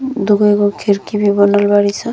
दुगो एगो खिड़की भी बनल बाड़ीसन।